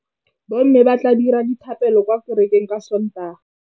Bommê ba tla dira dithapêlô kwa kerekeng ka Sontaga.